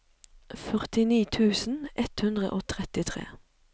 førtini tusen ett hundre og trettitre